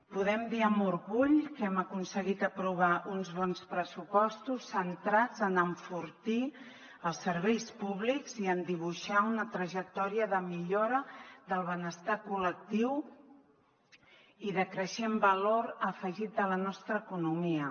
podem dir amb orgull que hem aconseguit aprovar uns bons pressupostos centrats en enfortir els serveis públics i en dibuixar una trajectòria de millora del benestar col·lectiu i de creixent valor afegit a la nostra economia